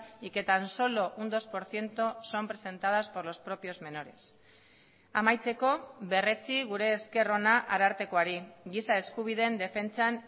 y que tan solo un dos por ciento son presentadas por los propios menores amaitzeko berretsi gure esker ona arartekoari giza eskubideen defentsan